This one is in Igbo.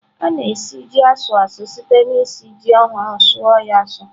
A na-esi ji asu a su site na-esi ji ohurụ suọ ya asụ.